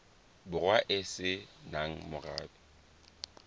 borwa e se nang morabe